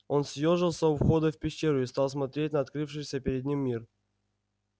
он съёжился у входа в пещеру и стал смотреть на открывшийся перед ним мир